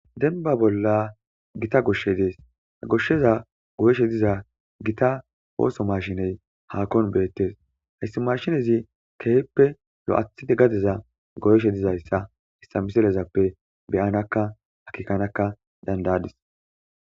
Dembba bolla gita goshshey dees a goshsheza goyeshe diza gita ooso mashiney haakon beettes hayssi mashinezi keehippe lo7athide gadeza goyeshe dizayssa issa miselezappe beyanakka hakikanakka dandayadis.